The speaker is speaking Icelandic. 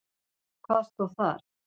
Hvað stóð þar?